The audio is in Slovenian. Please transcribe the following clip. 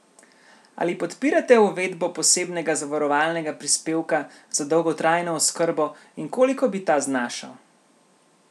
Ali podpirate uvedbo posebnega zavarovalnega prispevka za dolgotrajno oskrbo in koliko bi ta znašal?